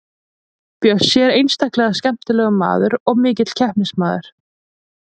Bjössi er einstaklega skemmtilegur maður og mikill keppnismaður.